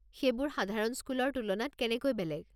সেইবোৰ সাধাৰণ স্কুলৰ তুলনাত কেনেকৈ বেলেগ?